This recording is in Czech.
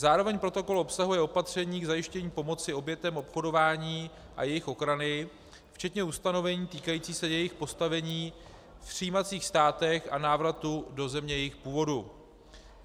Zároveň protokol obsahuje opatření k zajištění pomoci obětem obchodování a jejich ochrany včetně ustanovení týkajících se jejich postavení v přijímacích státech a návratu do země jejich původu.